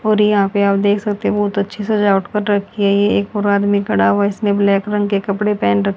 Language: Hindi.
और यहां पे आप देख सकते बहुत अच्छी सजावट कर रखी है ये एक और आदमी खड़ा हुआ इसने ब्लैक रंग के कपड़े पहन र